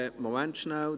Moment schnell: